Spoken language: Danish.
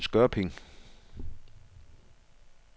Skørping